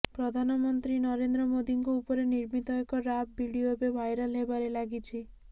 ପ୍ରଧାନମନ୍ତ୍ରୀ ନରେନ୍ଦ୍ର ମୋଦିଙ୍କ ଉପରେ ନିର୍ମିତ ଏକ ରାପ ଭିଡିଓ ଏବେ ଭାଇରାଲ ହେବାରେ ଲାଗିଛି